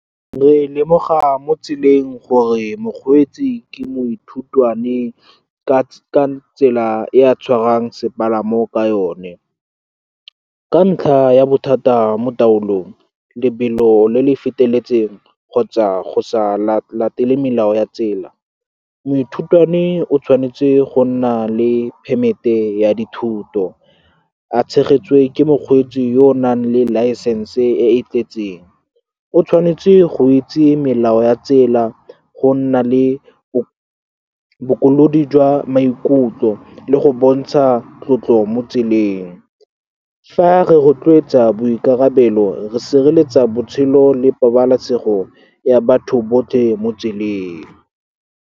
Re lemoga mo tseleng gore mokgweetsi ke moithutwane ka tsela e a tshwarang sepalamo ka yone, ka ntlha ya bothata mo taolong, lebelo le le feteletseng kgotsa go sa latele melao ya tsela. Moithutwane o tshwanetse go nna le permit-e ya dithuto, a tshegetswe ke mokgweetsi yo o nang le license e e tletseng. O tshwanetse go itse melao ya tsela, go nna le bokolodi jwa maikutlo, le go bontsha tlotlo mo tseleng. Fa re rotloetsa boikarabelo, re sireletsa botshelo le pabalesego ya batho botlhe mo tseleng.